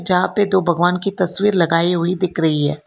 यहां पे तो भगवान की तस्वीर लगाई हुई दिख रही है।